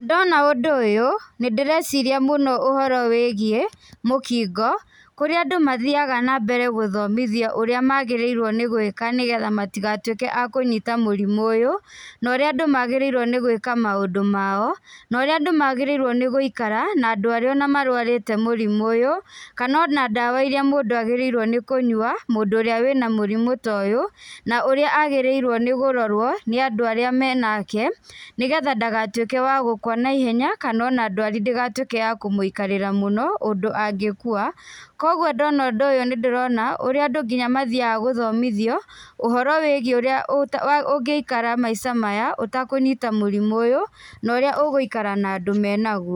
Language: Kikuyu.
Ndona ũndũ ũyũ, nĩndĩreciria mũno ũhoro wĩgiĩ mũkingo, kũrĩa andũ mathiaga nambere gũthomithio ũrĩa magĩriirwo nĩgwĩka nĩgetha matigatuĩke a kũnyita mũrimũ ũyũ, na ũrĩa andũ magĩriirwo nĩ gwĩka maũndũ mao, na ũrĩa andũ magĩrĩirwo gũikara, na andũ arĩa ona marwarĩte mũrimũ ũyũ, kana ona ndawa iria mũndũ agĩrĩirwo nĩ kũnywa, mũndũ ũrĩa wĩna mũrimũ ta ũyũ, na ũrĩa agĩrĩirwo nĩkũrorwo nĩandũ arĩa menake, nĩgetha ndagatuĩke wa gũkwa naihenya, kana ona ndwari ndĩgatuĩke ya kũmũikarĩra mũno, ũndũ angĩkua, koguo ndona ũndũ ũyũ nindĩrona, ũrĩa nginya andũ mathiaga gũthomithio, ũhoro wĩgiĩ ũrĩa ũ ũngĩikara maica maya, ũtakũnyita mũrimũ ũyũ, na ũrĩa ũgũikara na andũ menaguo.